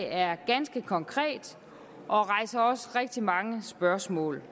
er ganske konkret og rejser også rigtig mange spørgsmål